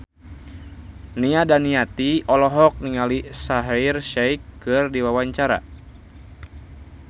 Nia Daniati olohok ningali Shaheer Sheikh keur diwawancara